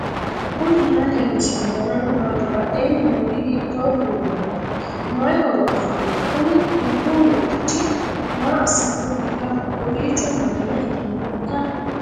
knuni maa leellishanno ? danano maati ? badheenni noori hiitto kuulaati ? mayi horo afirino ? kuni dubbu moyichi maa assannohoikka kowiicho manna itannohoikka